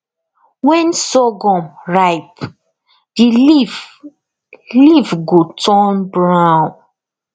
when surghum ripe the leaf leaf go turn brown